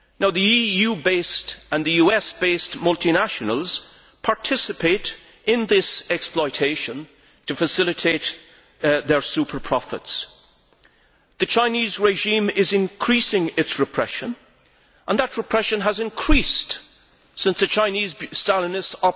The EU based and the US based multinationals participate in this exploitation to facilitate their super profits. The Chinese regime is increasing its repression, and that repression has increased since the Chinese Stalinists